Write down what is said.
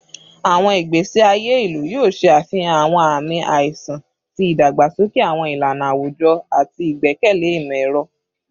Awọn igbesi aye ilu yoo ṣe afihan awọn aami aiṣan ti idagbasoke awọn ilana awujọ ati igbẹkẹle imọ-ẹrọ